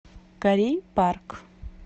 корей парк